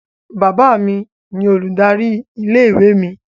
Bàbá mi ni olùdarí ilé-ìwé mi.